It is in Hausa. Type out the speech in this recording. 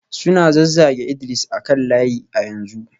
Suna zazzage Idris a kan layi a yanzu